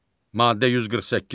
Maddə 148.